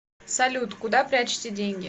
салют куда прячете деньги